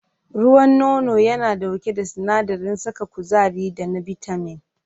Ruwan nono yana ɗauke da sinadarin saka kuzari da na bitamin.